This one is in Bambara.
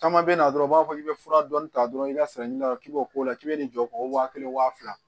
Caman bɛ na dɔrɔn u b'a fɔ k'i bɛ fura dɔɔnin ta dɔrɔn i ka sɛgɛn la k'i b'o k'o la k'i bɛ nin jɔ k'o wa kelen wa fila